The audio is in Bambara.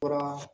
Fura